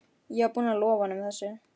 Ég var búinn að lofa honum þessu.